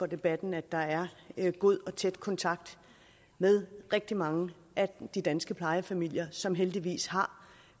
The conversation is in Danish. debatten at der er god og tæt kontakt med rigtig mange af de danske plejefamilier som heldigvis har